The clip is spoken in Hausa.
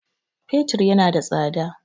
Fetur yana da tsada